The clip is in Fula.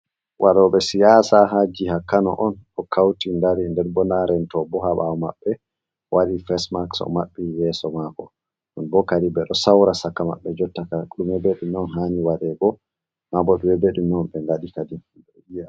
Waɗo ɓe siyasa ha jiha kano on, ɗo kauti dari nden bo nda rento bo ha ɓawo maɓɓe waɗi fes maks o maɓɓi yesso mako, non on kadin ɓeɗo saura shaka maɓɓe jottakam, ɗime be ɗime on hani waɗego, mabo ɓe ngaɗi kadin.